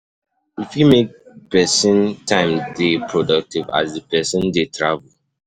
E fit make person time dey productive as di person dey travel